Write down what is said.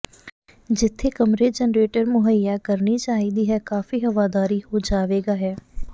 ਜਿੱਥੇ ਕਮਰੇ ਜਰਨੇਟਰ ਮੁਹੱਈਆ ਕਰਨੀ ਚਾਹੀਦੀ ਹੈ ਕਾਫ਼ੀ ਹਵਾਦਾਰੀ ਹੋ ਜਾਵੇਗਾ ਹੈ